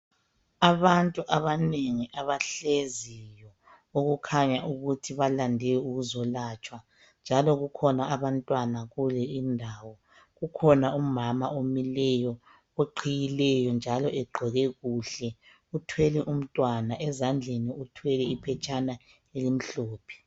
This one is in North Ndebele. Abantu abanengi abahlezi okukhanya ukuthi balande ukulatshwa njalo kukhona abantwana kulendayo kukhona umama omileyo oqhiyileyo njalo egqoke kuhle uthwele umntwana ezandleni uthwele iphetshana elimhlophe.